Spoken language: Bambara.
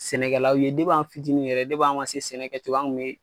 Sɛnɛkɛlaw ye an fitinin yɛrɛ an ma se sɛnɛ kɛcogo ye an kun me